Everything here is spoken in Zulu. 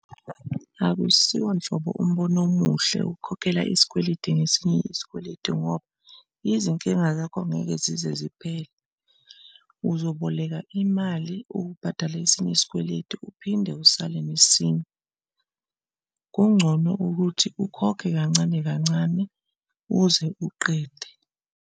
Akusiwo nhlobo umbono omuhle ukhokhela isikweletu ngesinye isikweletu ngoba izinkinga zakho ngeke zize ziphele, uzoboleka imali ukubhadala esinye isikweletu uphinde usale nesinye. Kungcono ukuthi ukhokhe kancane kancane uze uqede.